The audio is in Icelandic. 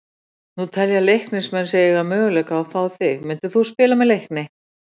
Nú telja Leiknismenn sig eiga möguleika á að fá þig, myndir þú spila með Leikni?